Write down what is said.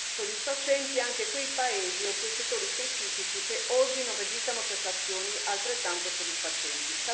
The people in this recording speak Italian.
soddisfacenti anche quei paesi o quei settori specifici che oggi non registrano prestazioni altrettanto soddisfacenti.